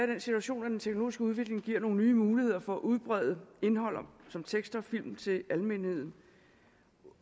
den situation at den teknologiske udvikling giver nogle nye muligheder for at udbrede indhold som tekster og film til almenheden